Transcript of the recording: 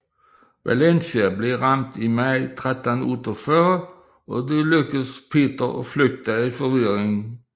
Valencia blev ramt i maj 1348 og det lykkedes Peter at flygte i forvirringen